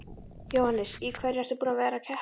Jóhannes: Í hverju ertu búinn að vera að keppa?